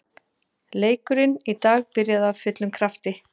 Leikurinn í dag byrjaði af fullum krafti.